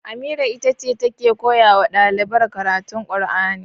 Amira itace take koyawa ɗalibar karatun alkur'ani